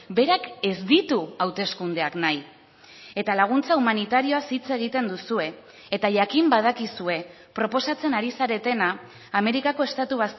berak ez ditu hauteskundeak nahi eta laguntza humanitarioaz hitz egiten duzue eta jakin badakizue proposatzen ari zaretena amerikako estatu